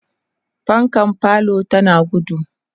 fankan falo tana gudu